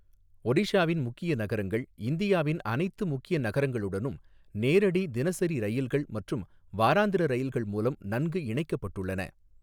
ஒடிஷாவின் முக்கிய நகரங்கள் இந்தியாவின் அனைத்து முக்கிய நகரங்களுடனும் நேரடி தினசரி ரயில்கள் மற்றும் வாராந்திர ரயில்கள் மூலம் நன்கு இணைக்கப்பட்டுள்ளன.